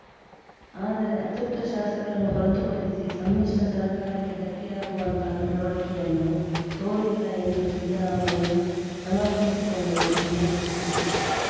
ಆದರೆ ಅತೃಪ್ತ ಶಾಸಕರನ್ನು ಹೊರತು ಪಡಿಸಿ ಸಮ್ಮಿಶ್ರ ಸರ್ಕಾರಕ್ಕೆ ಧಕ್ಕೆಯಾಗುವಂತಹ ನಡವಳಿಕೆಯನ್ನು ತೋರಿಲ್ಲ ಎಂದು ಸಿದ್ದರಾಮಯ್ಯ ಸಮರ್ಥಿಸಿಕೊಂಡರು ಎನ್ನಲಾಗಿದೆ